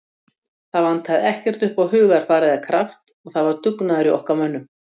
Það vantaði ekki upp á hugarfar eða kraft og það var dugnaður í okkar mönnum.